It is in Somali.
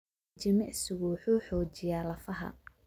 Jimicsigu wuxuu xoojiyaa lafaha.